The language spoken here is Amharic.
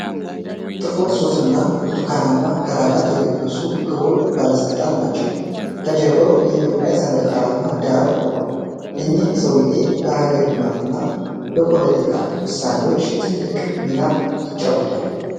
ጥቁር ሱፍና ብርቱካናማ ክራቫት የለበሱ ክቡር ባለሥልጣንን ናቸው ። ከጀርባው የኢትዮጵያ ሰንደቅ ዓላማ ዳራ ሆኗል። እኚህ ሰውየው በሀገር ልማትና በፖለቲካዊ ውሳኔዎች ትልቅ ሚና ይጫወታሉ።